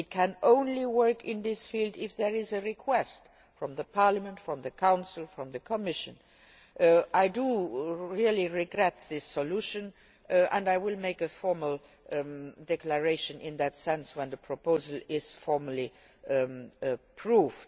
It can only work in this field if there is a request from Parliament, from the Council or from the Commission. I really regret this solution and I will make a formal declaration to that effect when the proposal is formally approved.